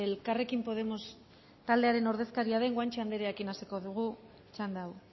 elkarrekin podemos taldearen ordezkaria den guanche anderearekin hasiko dugu txanda hau